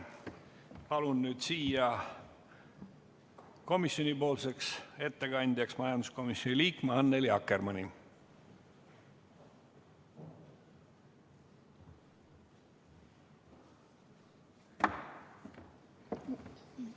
Palun nüüd siia komisjonipoolseks ettekandjaks majanduskomisjoni liikme Annely Akkermanni!